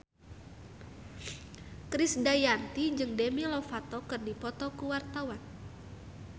Krisdayanti jeung Demi Lovato keur dipoto ku wartawan